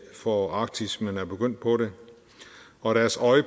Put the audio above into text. for arktis men er begyndt på det og deres øje